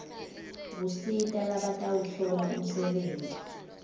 kusita labatawuhlola umsebenti